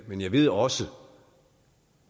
men jeg ved også